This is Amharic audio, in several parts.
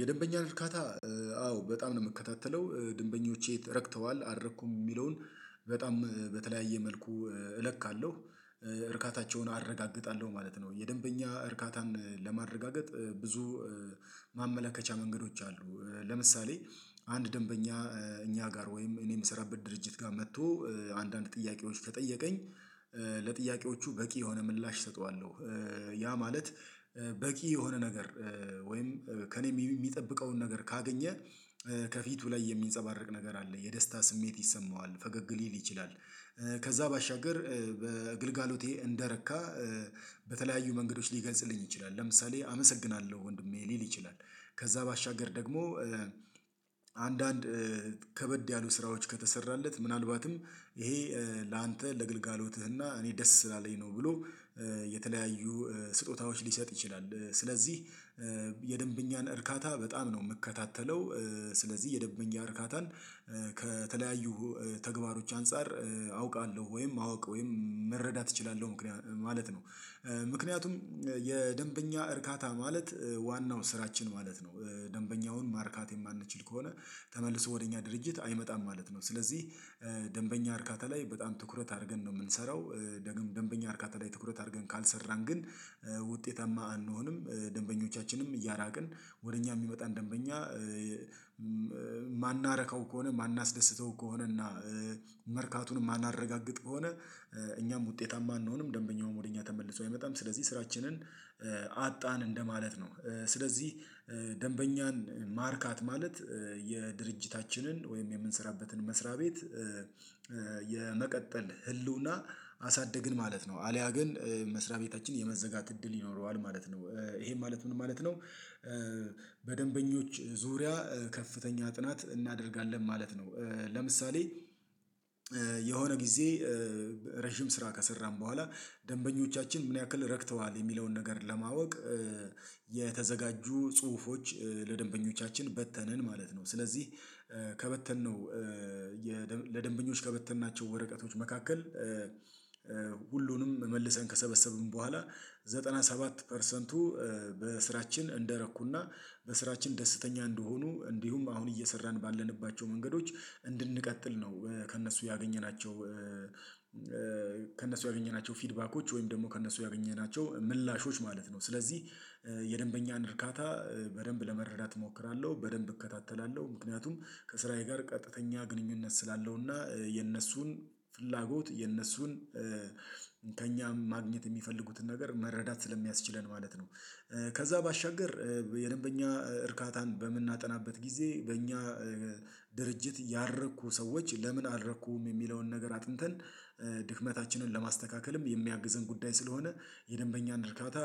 የደንበኛ እርካታ አዎ በጣም ነው የምከታተለው ደንበኞቼ ረክተዋል አረኩም የሚለውን በጣም በተለያየ መልኩ እለካለሁ እርካታቸውን አረጋግጣለሁ ማለት ነው። የደንበኛ እርካታን ለማረጋገጥ ብዙ ማመለከቻ መንገዶች አሉ። ለምሳሌ አንድ ደንበኛ እኛ ጋር ወይም እኔ የምሰራበት ድርጅት ጋር መጥቶ አንዳንድ ጥያቄዎች ከጠየቀኝ ለጥያቄዎቹ በቂ የሆነ ምላሽ እሰጠዋለሁ። ያ ማለት በቂ የሆነ ነገር ወይም ከእኔ የሚጠብቀውን ነገር ካገኘ ከፊቱ ላይ የሚንጸባረቅ ነገር አለ የደስታ ስሜት ይሰማዋል ፈገግ ሊል ይችላል። ከዛ ባሻገር በግልጋሎቴ እንደረካ በተለያዩ መንገዶች ሊገልጽልኝ ይችላል ለምሳሌ አመሰግናለሁ ወንድሜ ሊል ይችላል። ከዛ ባሻገር ደግሞ አንዳንድ ከበድ ያሉ ስራዎች ከተሰራለት ምናልባትም ይሄ ላንተ ለግልጋሎትህና እኔ ደስ ስላለኝ ነው ብሎ የተለያዩ ስጦታዎች ሊሰጥ ይችላል። ስለዚህ የደንብኛን እርካታ በጣም ነው የምከታተለው። ስለዚህ የደንበኛ እርካታን ከተለያዩ ተግባሮች አንፃር አውቃለሁ ወይም አውቅ ወይም መረዳት እችላለሁ ምክንያቱም ማለት ነው። ምክንያቱም የደንበኛ እርካታ ማለት ዋናው ስራችን ማለት ነው። ደንበኛውን ማርካት የማንችል ከሆነ ተመልሶ ወደ እኛ ድርጅት አይመጣም ማለት ነው። ስለዚህ ደንበኛ እርካታ ላይ በጣም ትኩረት አድርገን ነው የምንሰራው። ደግሞ ደንበኛ አርካታ ላይ ትኩረት አድርገን ካልሰራን ግን ውጤታማ አንሆንም። ደንበኞቻችንም እያራቅን ወደ እኛ የሚመጣን ደንበኛ ማናረከው ከሆነ ማናስደስተው ከሆነ እና መርካቱን የማናረጋግጥ ከሆነ እኛም ውጤታማ አንሆንም። ደንበኛውም ወደ እኛ ተመልሶ አይመጣም ስለዚህ ስራችንን አጣን እንደማለት ነው። ስለዚህ ደንበኛን ማርካት ማለት የድርጅታችንን ወይም የምንሰራበትን መስሪያ ቤት የመቀጠል ህልውና አሳደግን ማለት ነው። አልያ ግን መስሪያ ቤታችን የመዘጋት እድል ይኖረዋል ማለት ነው። ይሄ ማለት ምን ማለት ነው? በደንበኞች ዙሪያ ከፍተኛ ጥናት እናደርጋለን ማለት ነው። ለምሳሌ የሆነ ጊዜ ረጅም ስራ ከሰራን በኋላ ደንበኞቻችን ምን ያክል ረክተዋል የሚለውን ነገር ለማወቅ የተዘጋጁ ጽሁፎች ለደንበኞቻችን በተንን ማለት ነው። ስለዚህ ከበተንነው ለደንበኞች ከበተንናቸው ወረቀቶች መካከል ሁሉንም መልሰን ከሰበሰብን በኋላ ዘጠና ሰባት ፐርሰንቱ በስራችን እንደረኩና በስራችን ደስተኛ እንደሆኑ እንዲሁም አሁን እየሰራን ባለንባቸው መንገዶች እንድንቀጥል ነው። ከእነሱ ያገኘናቸው ከእነሱ ያገኘናቸው ፊድባኮች ወይም ደግሞ ከእነሱ ያገኘናቸው ምላሾች ማለት ነው። ስለዚህ የደንበኛን እርካታ በደንብ ለመረዳት እሞክራለሁ በደንብ እከታተላለሁ። ምክንያቱም ከስራዬ ጋር ቀጥተኛ ግንኙነት ስላለው እና የእነሱን ፍላጎት የነሱን እንከኛ ማግኘት የሚፈልጉትን ነገር መረዳት ስለሚያስችለን ማለት ነው። ከዛ ባሻገር የደንበኛ እርካታን በምናጠናበት ጊዜ በእኛ ድርጅት ያሉ ሰዎች ለምን አረኩም የሚለውን ነገር አጥንተን ድክመታችንን ለማስተካከልም የሚያግዘን ጉዳይ ስለሆነ የደንበኛን ድርካታ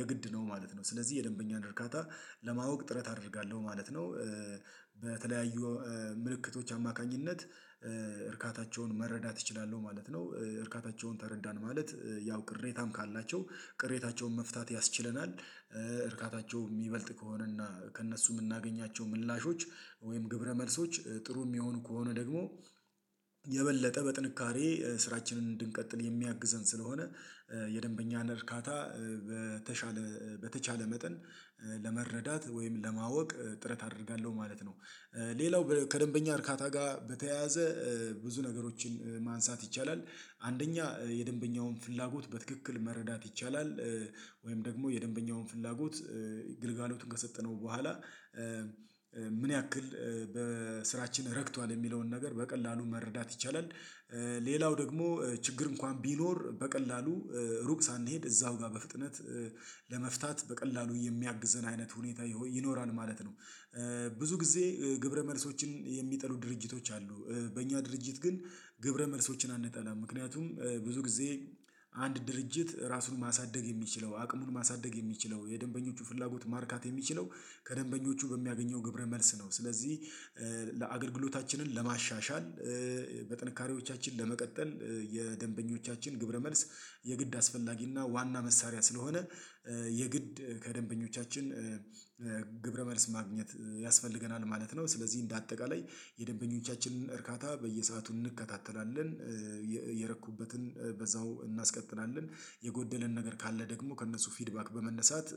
የግድ ነው ማለት ነው። ስለዚህ የደንበኛን እርካታ ለማወቅ ጥረት አደርጋለሁ ማለት ነው። በተለያዩ ምልክቶች አማካኝነት እርካታቸውን መረዳት እችላለሁ ማለት ነው። እርካታቸውን ተረዳን ማለት ያው ቅሬታም ካላቸው ቅሬታቸውን መፍታት ያስችለናል። እርካታቸው የሚበልጥ ከሆነና ከእነሱ የምናገኛቸው ምላሾች ወይም ግብረ መልሶች ጥሩ የሚሆኑ ከሆነ ደግሞ የበለጠ በጥንካሬ ስራችንን እንድንቀጥል የሚያግዘን ስለሆነ የደንበኛ እርካታ በተቻለ በተቻለ መጠን ለመረዳት ወይም ለማወቅ ጥረት አደርጋለሁ ማለት ነው። ሌላው ከደንበኛ እርካታ ጋር በተያያዘ ብዙ ነገሮችን ማንሳት ይቻላል። አንደኛ የደንበኛውን ፍላጎት በትክክል መረዳት ይቻላል። ወይም ደግሞ የደንበኛውን ፍላጎት ግልጋሎቱን ከሰጠነው በኋላ ምን ያክል በስራችን ረክቷል የሚለውን ነገር በቀላሉ መረዳት ይቻላል። ሌላው ደግሞ ችግር እንኳን ቢኖር በቀላሉ ሩቅ ሳንሄድ እዛው ጋር በፍጥነት ለመፍታት በቀላሉ የሚያግዘን አይነት ሁኔታ ይኖራል ማለት ነው። ብዙ ጊዜ ግብረ መልሶችን የሚጠሉ ድርጅቶች አሉ። በእኛ ድርጅት ግን ግብረ መልሶችን አንጠላም ምክንያቱም ብዙ ጊዜ አንድ ድርጅት ራሱን ማሳደግ የሚችለው አቅሙን ማሳደግ የሚችለው የደንበኞቹ ፍላጎት ማርካት የሚችለው ከደንበኞቹ በሚያገኘው ግብረ መልስ ነው። ስለዚህ ለአገልግሎታችንን ለማሻሻል በጥንካሬዎቻችን ለመቀጠል የደንበኞቻችን ግብረመልስ የግድ አስፈላጊና ዋና መሳሪያ ስለሆነ የግድ ከደንበኞቻችን ግብረ መልስ ማግኘት ያስፈልገናል ማለት ነው። ስለዚህ እንደ አጠቃላይ የደንበኞቻችንን እርካታ በየሰአቱ እንከታተላለን። የረኩበትን በዛው እናስቀጥላለን። የጎደለን ነገር ካለ ደግሞ ከእነሱ ፊድባክ በመነሳት